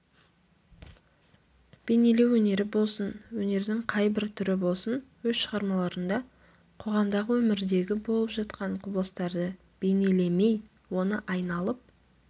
бейнелеу өнері болсын өнердің қай бір түрі болсын өз шығармаларында қоғамдағы өмірдегі болып жатқан құбылыстарды бейнелемей оны айналып